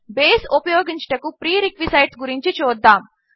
base ఉపయోగించుటకు prerequisites గురించి చూద్దాము